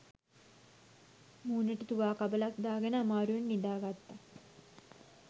මූණට තුවා කබලක් දාගෙන අමාරුවෙන් නිදාගත්තා.